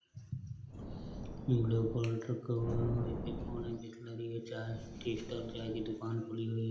T stall चाय की दुकान खुली हुई है।